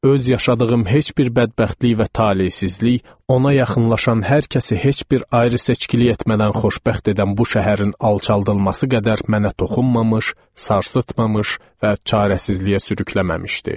Öz yaşadığım heç bir bədbəxtlik və talesizlik ona yaxınlaşan hər kəsi heç bir ayrı seçkilik etmədən xoşbəxt edən bu şəhərin alçaldılması qədər mənə toxunmamış, sarsıtmamış və çarəsizliyə sürükləməmişdi.